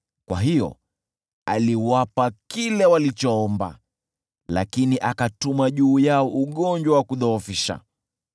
Kwa hiyo aliwapa kile walichoomba, lakini akatuma juu yao ugonjwa wa kudhoofisha.